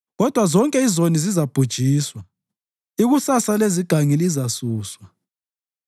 Kodwa zonke izoni zizabhujiswa; ikusasa lezigangi lizasuswa.